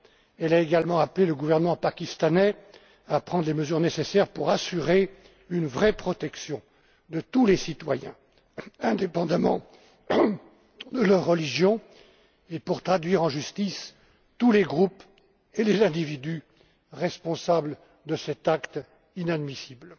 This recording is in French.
Elle a également appelé le gouvernement pakistanais à prendre les mesures nécessaires pour assurer une vraie protection de tous les citoyens, indépendamment de leur religion, et pour traduire en justice tous les groupes et les individus responsables de cet acte inadmissible.